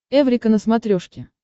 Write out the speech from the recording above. эврика на смотрешке